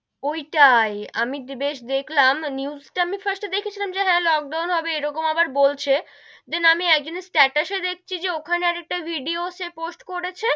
ওইটাই, আমি বেশ দেখলাম news টা আমি first এ দেখেছিলাম যে হেঁ, লোকডাউন হবে এরকম আবার বলছে, then আমি এক জনের status এ দেখছি যে ওখানে আর একটা ভিডিও সে পোস্ট করেছে,